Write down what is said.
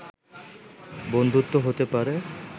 বন্ধুত্ব হতে পারে